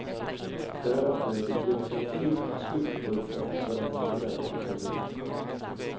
Därefter är det definitivt slutbubblat för den populära revyn.